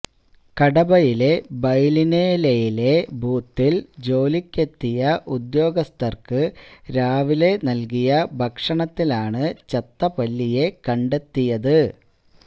കടബയിലെ ബൈലിനെലെയിലെ ബൂത്തില് ജോലിക്കെത്തിയ ഉദ്യോഗസ്ഥര്ക്ക് രാവിലെ നല്കിയ ഭക്ഷണത്തിലാണ് ചത്തപല്ലിയെ കണ്ടെത്തിയത്